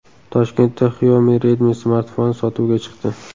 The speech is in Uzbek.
Toshkentda Xiaomi Redmi smartfoni sotuvga chiqdi.